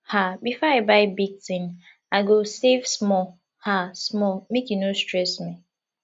um before i buy big thing i go save small um small make e no stress me